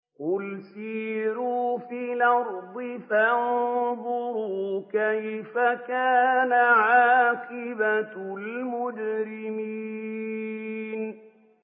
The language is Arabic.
قُلْ سِيرُوا فِي الْأَرْضِ فَانظُرُوا كَيْفَ كَانَ عَاقِبَةُ الْمُجْرِمِينَ